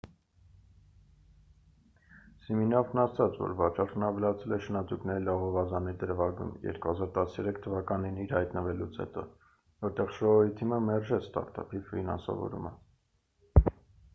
սիմինոֆն ասաց որ վաճառքն ավելացել է շնաձուկների լողավազանի դրվագում 2013 թվականին իր հայտնվելուց հետո որտեղ շոուի թիմը մերժեց ստարտափի ֆինանսավորումը